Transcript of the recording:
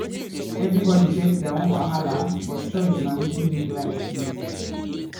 everybody get their own wahala but choice na wetin make life sweet